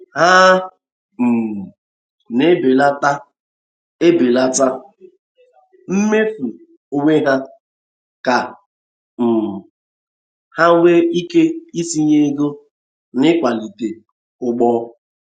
Ha um na e belata e belata mmefu onwe ha, ka um ha nwee ike itinye ego n’ịkwalite ugbo.